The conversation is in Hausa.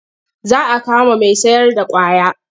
Za a kama mai sayarda ƙwaya.